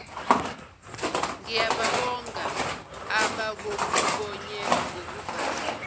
ngiyababonga abakokhubonye ngokuvuma